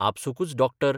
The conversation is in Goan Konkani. आपसूकच डाक्टर